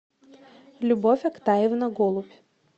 любовь октаевна голубь